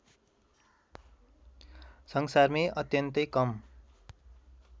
संसारमै अत्यन्तै कम